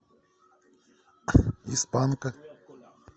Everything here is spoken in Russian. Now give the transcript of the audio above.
из панка